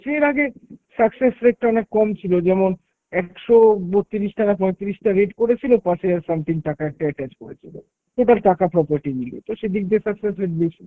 এর আগে success rate টা অনেক কম ছিল, যেমন একশো বত্রিশ টা না পঁয়তিরিশটা rate করেছিল, পাঁচহাজার something টাকা একটা attach করেছিল। এবার টাকা property মিলিয়ে, তো সেদিক দিয়ে তার ।